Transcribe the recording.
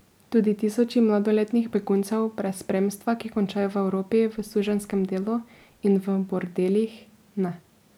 Tudi tisoči mladoletnih beguncev brez spremstva, ki končajo v Evropi v suženjskem delu in v bordelih, ne.